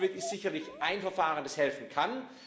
SOLVIT ist sicherlich ein Verfahren, das helfen kann.